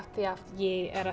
ég er að